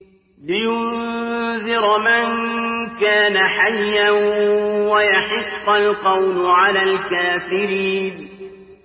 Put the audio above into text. لِّيُنذِرَ مَن كَانَ حَيًّا وَيَحِقَّ الْقَوْلُ عَلَى الْكَافِرِينَ